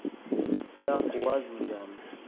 ya kuwazi njani